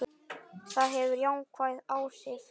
Það hefur jákvæð áhrif.